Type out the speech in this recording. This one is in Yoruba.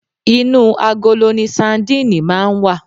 Inú agolo ni sandíìnì máa ń wà